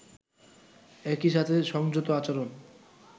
একই সাথে সংযত আচরণ